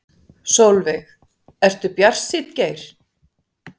Sólveig: Ertu bjartsýnn Geir?